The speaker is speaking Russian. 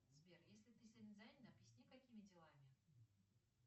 сбер если ты сильно занят объясни какими делами